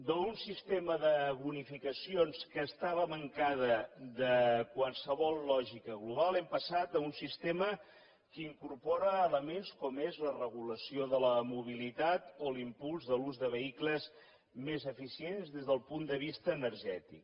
d’un sistema de bonificacions que estava mancat de qualsevol lògica global hem passat a un sistema que incorpora elements com és la regulació de la mobilitat o l’impuls de l’ús de vehicles més eficients des del punt de vista energètic